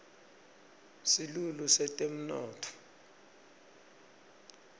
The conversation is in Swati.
silulu setemnotfo